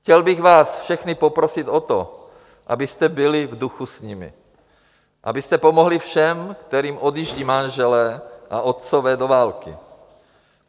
Chtěl bych vás všechny poprosit o to, abyste byli v duchu s nimi, abyste pomohli všem, kterým odjíždí manželé a otcové do války.